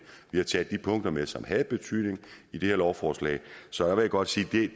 vi har taget de punkter med som havde betydning i det her lovforslag så jeg vil godt sige at det